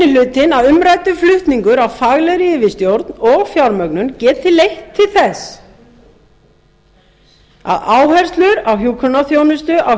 telur minni hlutinn að umræddur flutningur á faglegri yfirstjórn og fjármögnun geti leitt til þess að áherslur á hjúkrunarþjónustu